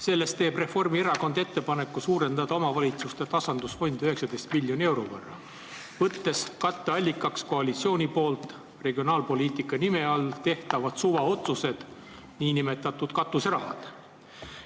Selles teeb Reformierakond ettepaneku suurendada omavalitsustele mõeldud tasandusfondi 19 miljoni euro võrra, võttes katteallikaks koalitsiooni poolt regionaalpoliitika nime all tehtavad suvaotsused, nn katuserahad.